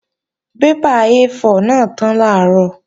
Bébà A4 náà tán làárọ̀